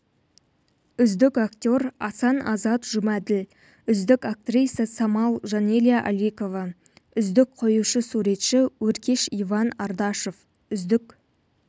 үздік актер асан азат жұмаділ үздік актриса самал жанеля аликова үздік қоюшы-суретші өркеш иван ардашов үздік